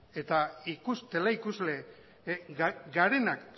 eta teleikusle garenak